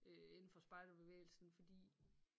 Øh indenfor spejderbevægelsen fordi